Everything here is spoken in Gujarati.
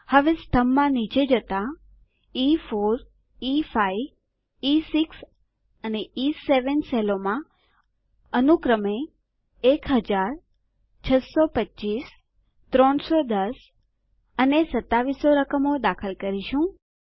હવે સ્તંભમાં નીચે જતા e4e5ઇ6 અને ઇ7 સેલોમાં અનુક્રમે 1000625310 અને 2700 રકમો દાખલ કરીશું